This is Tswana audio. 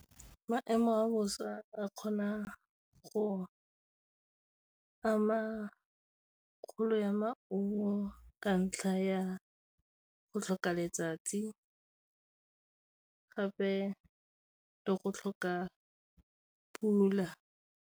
Maemo a bosa a kgona go ama kgolo ya maungo, ka ntlha ya go tlhoka letsatsi gape le go tlhoka pula.